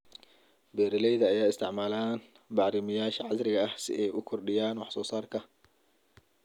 Beeralayda ayaa isticmaala bacrimiyeyaasha casriga ah si ay u kordhiyaan wax soo saarka.